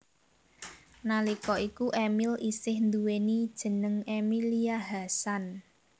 Nalika iku Emil isih nduwèni jeneng Emilia Hasan